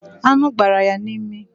Aṅụ gbara ya n'imi